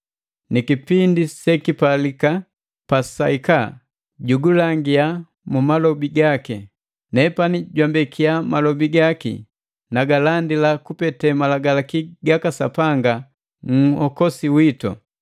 Ni kipindi sekipalika pasahika, jugulangia mu malobi gaki. Nepani jwambekia malobi gaki nagalandila kupete malagalaki gaka Sapanga Nhokosi witu.